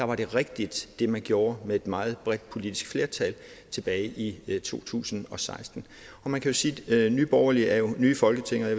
var det rigtige man gjorde med et meget bredt politisk flertal tilbage i to tusind og seksten man kan sige at nye borgerlige er nye i folketinget og